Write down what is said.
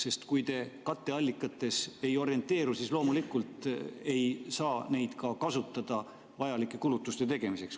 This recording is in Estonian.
Sest kui te katteallikates ei orienteeru, siis loomulikult ei saa neid ka kasutada vajalike kulutuste tegemiseks.